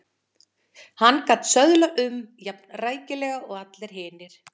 Hann gat söðlað um jafnrækilega og allir hinir.